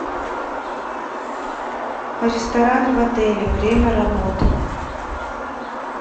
ресторан в отеле время работы